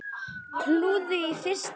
Klúður í fyrsta skrefi.